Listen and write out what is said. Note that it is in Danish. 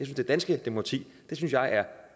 det danske demokrati er